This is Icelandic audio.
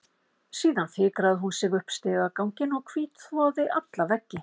Síðan fikraði hún sig upp stigaganginn og hvítþvoði alla veggi.